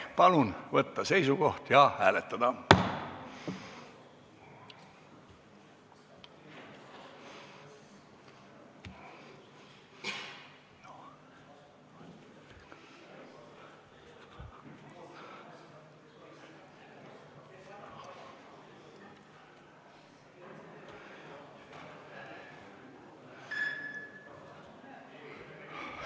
Palun võtta seisukoht ja hääletada!